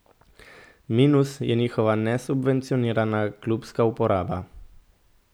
Minus je njihova nesubvencionirana klubska uporaba.